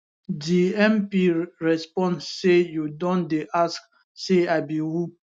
di mp respond say you don dey ask say i be who